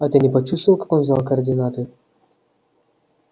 а ты не почувствовал как он взял координаты